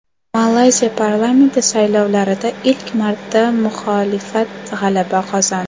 Malayziya parlamenti saylovlarida ilk marta muxolifat g‘alaba qozondi.